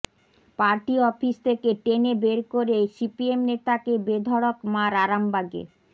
party office থেকে টেনে বের করে সিপিএম নেতাকে বেধড়ক মার আরামবাগে